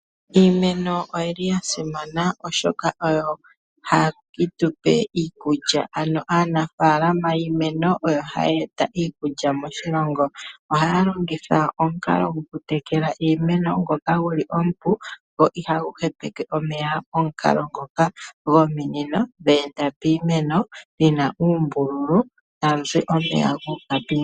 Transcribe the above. Iimeno oyili yasimana oshoka oyo hayi tupe iikulya ano aanafaalama yiimeno oyo hayeeta iikulya moshilongo. Ohaya longitha omukalo gokutekela iimeno ngoka guli omupu go ihagu hepeke omeya. Omukalo ngoka gomunino dheenda piimeno dhina uumbululu tawuzi omeya guuka piimeno.